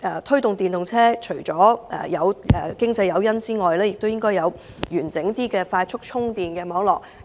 推動電動車除了要有經濟誘因，亦要有較完整的快速充電網絡。